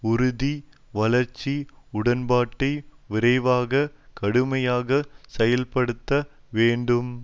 உறுதி வளர்ச்சி உடன்பாட்டை விரைவாக கடுமையாக செயல்படுத்த வேண்டும்